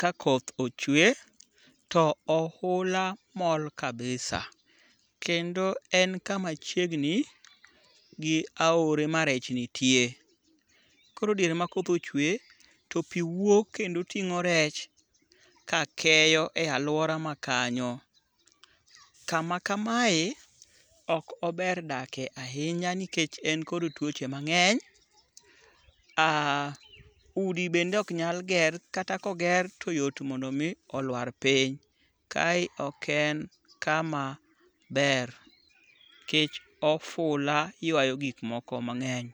kakoth ochwe, to ohula mol kabisa kendo en kama chiegni gi aore marech nitie. Koro diere makoth ochwe, to pi wuok kendo ting'o rech kakeyo e alwora makanyo. Kama kamae ok ober dakie ahinya nikech en kod tuoche mang'eny ,udi bende ok nyal ger kata koger toyot mondo omi olwar piny. Kae ok en kama ber nikech ofula ywayo gikmoko mang'eny.